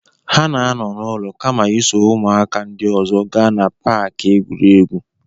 Ha na-anọ n'ụlọ kama iso ụmụaka ndị ọzọ gaa na Pááki egwuregwu